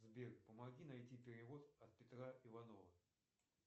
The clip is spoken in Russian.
сбер помоги найти перевод от петра иванова